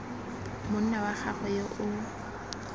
monna wa gagwe yo o